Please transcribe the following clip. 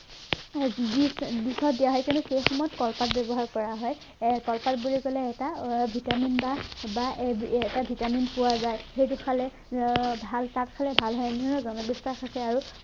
Dish dish ত দিয়া হয় কিন্তু কেইখনত কলপাত ব্য়ৱহাৰ কৰা হয় এৰ কলপাত বুলি কলে এটা raw vitamin বা বা এ এটা vitamin পোৱা যায় সেইটো খালে আহ ভাল পাত খালে ভাল নহয় জানো